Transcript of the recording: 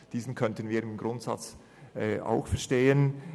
Diesen könnten wir im Grundsatz auch verstehen.